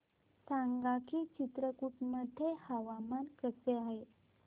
सांगा की चित्रकूट मध्ये हवामान कसे आहे